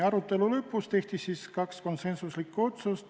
Arutelu lõpus tehti kaks konsensuslikku otsust.